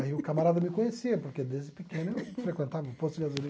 Aí o camarada me conhecia, porque desde pequeno eu frequentava o posto de gasolina.